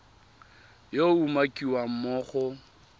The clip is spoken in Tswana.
yo a umakiwang mo go